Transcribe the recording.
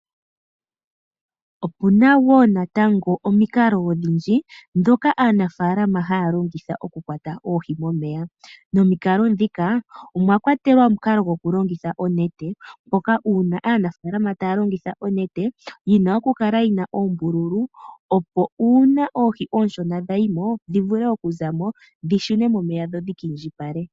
Opuna woo natango omikalo odhindji ndhoka aanafaalama haya longitha okukwata oohi momeya, nomikalo ndhika, omwa kwatelwa omukalo gokulongitha onete, moka uuna aanafaalama taya longitha yina okukala yina oombululu, opo uuna oohi oonshona dha yimo, dhi vule okuzamo dhishune momeya dho dhika indjipale.